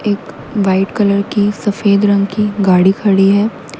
एक white colour की सफेद रंग की गाड़ी खड़ी है।